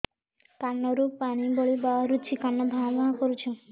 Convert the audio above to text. କାନ ରୁ ପାଣି ଭଳି ବାହାରୁଛି କାନ ଭାଁ ଭାଁ କରୁଛି